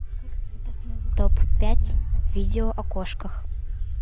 топ пять видео о кошках